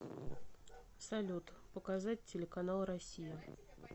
салют показать телеканал россия